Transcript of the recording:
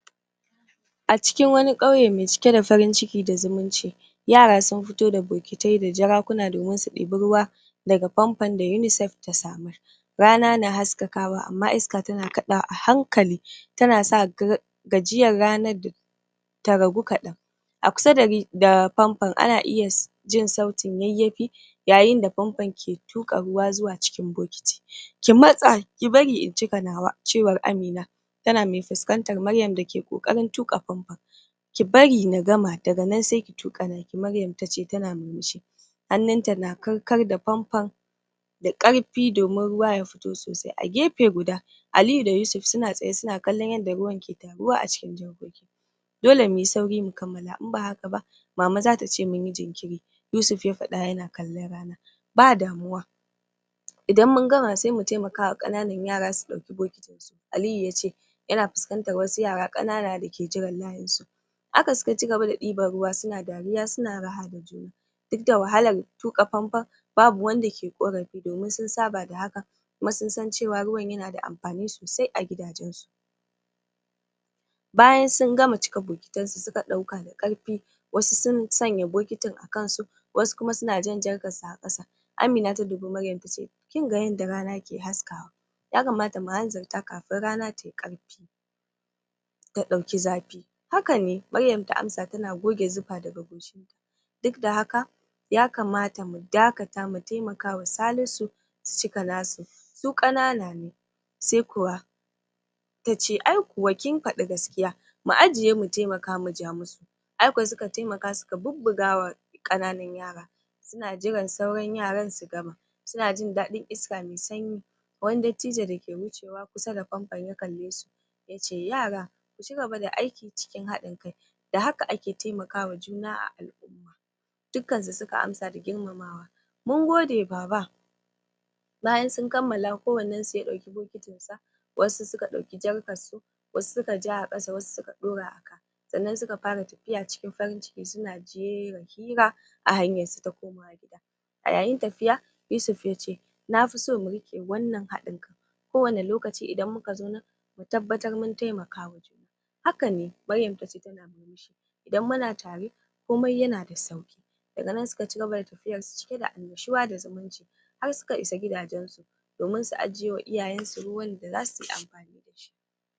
a cikin wani ƙauye me cike da farin ciki da zumunci yara sun fito da bokitai da jarakuna domin su ɗibi ruwa daga pampon da UNICEF ta samar rana na haskakawa amma iska tana kaɗawa a hankali tana sa gajiyar rana ta ragu kaɗan a kusa da pampon ana iya jin sautin yayyafi yayin da pampon ke tuƙa ruwa zuwa cikin bokiti ki matsa, ki bari in cika nawa cewar Amina tana me fuskantar Maryam dake ƙoƙarin tuƙa pampon ki bari na gama daga nan se ki tuƙa naki Maryam ta ce tana murmushi hannunta na kar-kar da pampon da ƙarfi domin ruwa ya fito sosai, a gefe guda Aliyu da Yusuf suna tsaye suna kallon yadda ruwan ke taruwa a cikin jarkoki dole muyi sauri mu kammala in ba haka ba mama zata ce mun yi jinkiri, Yusuf ya faɗa yana kallon rana ba damuwa idan mun gama se mu temaka wa ƙananan yara su ɗauki bokitin su Aliyu yace yana fuskantar wasu yara ƙanana da ke jiran layin su haka suka cigaba da ɗiban ruwa suna dariya suna raha da juna duk da wahalar tuƙa pampon babu wanda ke ƙorafi domin sun saba da hakan kuma sun san cewa ruwan yana da amfani sosai a gidajensu bayan sun gama cika bokitansu, suka ɗauka da ƙarfi wasu sun sanya bokitin a kansu wasu kuma suna jan jarkar su a ƙasa Amina ta dubi Maryam ta ce kin ga yadda rana ke haskawa ya kamata mu hanzarta kafin rana tayi ƙarfi ta ɗauki zafi haka ne, Maryam ta amsa tana goge zufa daga goshin ta duk da haka ya kamata mu dakata mu temaka wa Salisu su cika nasu su ƙanana ne se kuwa tace ai kuwa kin faɗi gaskiya mu ajiye mu temaka mu ja mu su ai kuwa suka temaka suka bubbuga wa ƙananan yara suna jiran sauran yaran su gama suna jin daɗin iska me sanyi wani dattijo dake wucewa kusa da pampon ya kalle su yace yara ku ci gaba da aiki cikin haɗin kai da haka ake temakawa juna a al'umma dukkan su suka amsa da girmamawa mun gode baba bayan sun kammala kowannen su ya ɗauki bokitin sa wasu suka ɗauki jarkar su wasu suka ja a ƙasa wasu suka ɗaura a ka sannan suka fara tafiya cikin farin ciki suna jera hira a hanyan su ta komawa gida a yayin tafiya, Yusuf ya ce na fi so mu riƙe wannan haɗin kan kowane lokaci idan muka zo nan mu tabbatar mun temakawa juna hakane, Maryam ta ce tana murmushi idan muna tare, komai yana da sauƙi daga nan suka cigaba da tafiyar su cike da annashuwa da zamunci har suka isa gidajensu domin su ajiye wa iyayen su ruwan da zasu yi amfani da shi